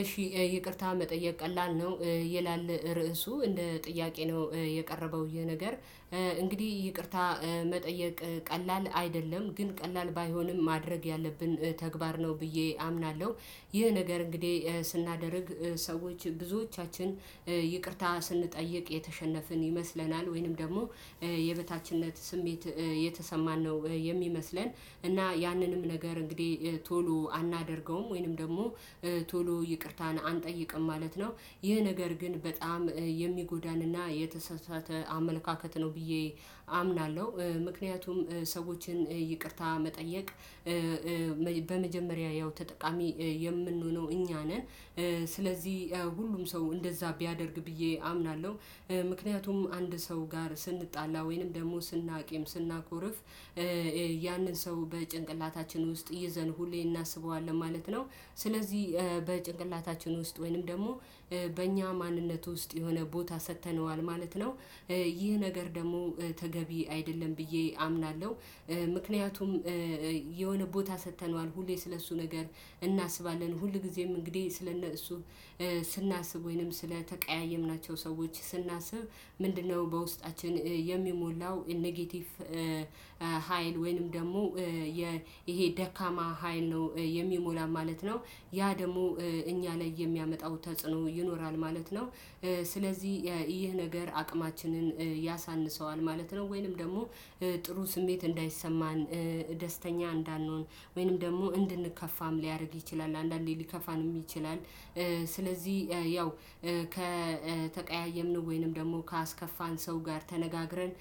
እሺ ይቅርታ መጠየቅ ቀላል ነው ይላል ርዕሱ እንደ ጥያቄ ነው የቀረበው ይህ ነገር። እንግዲህ ይቅርታ መጠየቅ ቀላል አይደለም ግን ቀላል ባይሆንም ማድረግ ያለብን ተግባር ነው ብዬ አምናለሁ። ይህ ነገር እንግዲህ ስናደርግ ሰዎች ብዙዎቻችን ይቅርታ ስንጠይቅ የተሸነፍን ይመስለናል ወይንም ደግሞ የበታችነት ስሜት የተሰማን ነው የሚመስለን እና ያንንም ነገር እንግዲህ ቶሎ አናደርገውም ወይንም ደግሞ ቶሎ ይቅርታን አንጠይቅም ማለት ነው። ይህ ነገር ግን በጣም የሚጎዳንና የተሳሳተ አመለካከት ነው ብዬ አምናለሁ። ምክንያቱም ሰዎችን ይቅርታ መጠየቅ በመጀመሪያ ያው ተጠቃሚ የምንሆነው እኛ ነን። ስለዚህ ሁሉም ሰው እንደዛ ቢያደርግ ብዬ አምናለሁ። ምክንያቱም አንድ ሰው ጋር ስንጣላ ወይንም ደግሞ ስናቂም ስናኮርፍ ያንን ሰው በጭንቅላታችን ውስጥ ይዘን ሁሌ እናስበዋለን ማለት ነው። ስለዚህ በጭንቅላታችን ውስጥ ወይንም ደግሞ በእኛ ማንነት ውስጥ የሆነ ቦታ ሰጥተነዋል ማለት ነው። ይህ ነገር ደግሞ ተገቢ አይደለም ብዬ አምናለሁ። ምክንያቱም የሆነ ቦታ ሰጥተነዋል ሁሌ ስለእሱ ነገር እናስባለን ሁልጊዜም እንግዲህ ስለእሱ ስናስብ ወይንም ስለተቀያየምናቸው ሰዎች ስናስብ ምንድነው በውስጣችን የሚሞላው ኔጌቲቭ? ሀይል ወይንም ደግሞ ይሄ ደካማ ሀይል ነው የሚሞላ ማለት ነው። ያ ደግሞ እኛ ላይ የሚያመጣው ተጽዕኖ ይኖራል ማለት ነው። ስለዚህ ይህ ነገር አቅማችንን ያሳንሰዋል ማለት ነው። ወይንም ደግሞ ጥሩ ስሜት እንዳይሰማን ደስተኛ እንዳንሆን ወይንም ደግሞ እንድንከፋም ሊያደርግ ይችላል አንዳንዴ ሊከፋንም ይችላል። ስለዚህ ያው ከተቀያየምን ወይንም ደግሞ ካስከፋን ሰው ጋር ተነጋግረን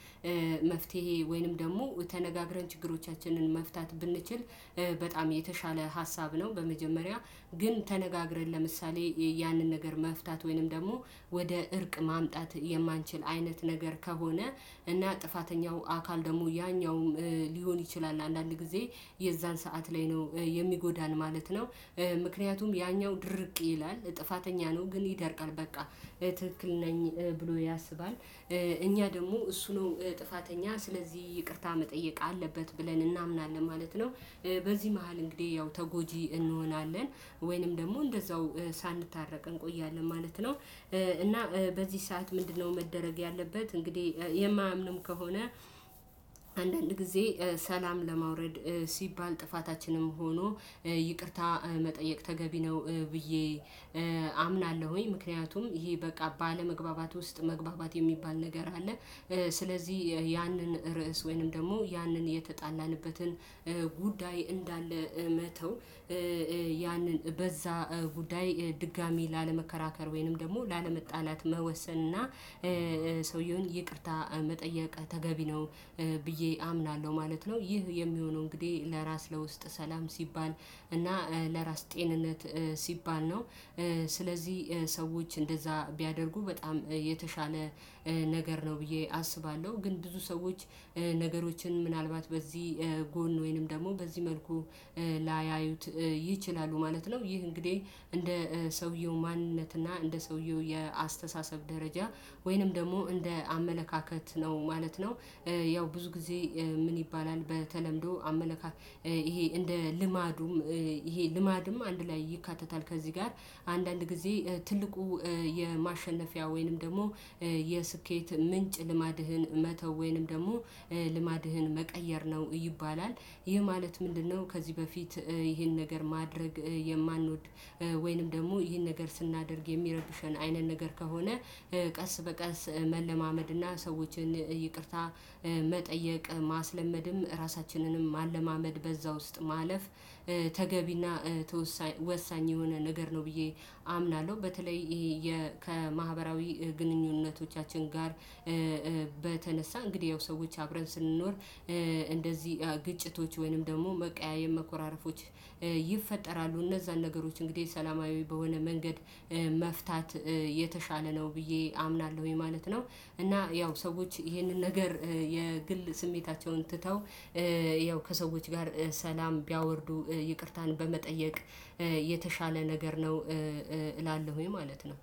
መፍትሄ ወይንም ደግሞ ተነጋግረን ችግሮቻችንን መፍታት ብንችል በጣም የተሻለ ሀሳብ ነው። በመጀመሪያ ግን ተነጋግረን ለምሳሌ ያንን ነገር መፍታት ወይንም ደግሞ ወደ እርቅ ማምጣት የማንችል አይነት ነገር ከሆነ እና ጥፋተኛው አካል ደግሞ ያኛው ሊሆን ይችላል አንዳንድ ጊዜ የዛን ሰዓት ላይ ነው የሚጎዳን ማለት ነው። ምክንያቱም ያኛው ድርቅ ይላል ጥፋተኛ ነው ግን ይደርቃል በቃ ትክክል ነኝ ብሎ ያስባል እኛ ደግሞ እሱ ነው ጥፋተኛ ስለዚህ ይቅርታ መጠየቅ አለበት ብለን እናምናለን ማለት ነው። በዚህ መሃል እንግዲህ ያው ተጎጂ እንሆናለን ወይንም ደግሞ እንደዛው ሳንታረቅ እንቆያለን ማለት ነው። እና በዚህ ሰዓት ምንድነው? መደረግ ያለበት እንግዲህ የማያምኑን ከሆነ አንዳንድ ጊዜ ሰላም ለማውረድ ሲባል ጥፋታችንም ሆኖ ይቅርታ መጠየቅ ተገቢ ነው ብዬ አምናለሁኝ ምክንያቱም ይሄ በቃ ባለመግባባት ውስጥ መግባባት የሚባል ነገር አለ። ስለዚህ ያንን ርዕስ ወይንም ደግሞ ያንን የተጣላንበትን ጉዳይ እንዳለ መተው ያንን በዛ ጉዳይ ድጋሚ ላለመከራከር ወይንም ደግሞ ላለመጣላት መወሰን እና ሰውየውን ይቅርታ መጠየቅ ተገቢ ነው። ብዬ አምናለሁ ማለት ነው ይህ የሚሆነው እንግዲህ ለራስ ለውስጥ ሰላም ሲባል እና ለራስ ጤንነት ሲባል ነው። ስለዚህ ሰዎች እንደዛ ቢያደርጉ በጣም የተሻለ ነገር ነው ብዬ አስባለሁ ግን ብዙ ሰዎች ነገሮችን ምናልባት በዚህ ጎን ወይንም ደግሞ በዚህ መልኩ ላያዩት ይችላሉ ማለት ነው። ይህ እንግዲህ እንደ ሰውየው ማንነትና እንደ ሰውየው የአስተሳሰብ ደረጃ ወይንም ደግሞ እንደ አመለካከት ነው ማለት ነው። ያው ብዙ ጊዜ ምን ይባላል? በተለምዶ አመለካከት ይሄ እንደ ልማዱም ይሄ ልማድም አንድ ላይ ይካተታል። ከዚህ ጋር አንዳንድ ጊዜ ትልቁ የማሸነፊያ ወይንም ደግሞ የስኬት ምንጭ ልማድህን መተው ወይንም ደግሞ ልማድህን መቀየር ነው ይባላል። ይህ ማለት ምንድነው? ከዚህ በፊት ይህን ነገር ማድረግ የማንወድ ወይንም ደግሞ ይህን ነገር ስናደርግ የሚረብሽን አይነት ነገር ከሆነ ቀስ በቀስ መለማመድ እና ሰዎችን ይቅርታ መጠየቅ ማስለመድም ራሳችንንም ማለማመድ በዛ ውስጥ ማለፍ ተገቢና ወሳኝ የሆነ ነገር ነው። ብዬ አምናለሁ። በተለይ ከማህበራዊ ግንኙነቶቻችን ጋር በተነሳ እንግዲህ ያው ሰዎች አብረን ስንኖር እንደዚህ ግጭቶች ወይንም ደግሞ መቀያየም መኮራረፎች ይፈጠራሉ። እነዛን ነገሮች እንግዲህ ሰላማዊ በሆነ መንገድ መፍታት የተሻለ ነው ብዬ አምናለሁኝ ማለት ነው። እና ያው ሰዎች ይሄንን ነገር የግል ስሜታቸውን ትተው ያው ከሰዎች ጋር ሰላም ቢያወርዱ ይቅርታን በመጠየቅ የተሻለ ነገር ነው። እላለሁኝ ማለት ነው።